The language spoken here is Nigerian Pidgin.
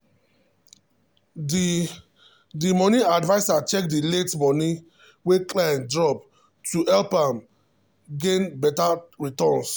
the the money adviser check the late money wey client drop to help am gain better returns.